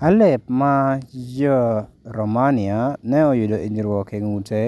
Halep ma ja Romania ne oyudo hinyruok e ng’ute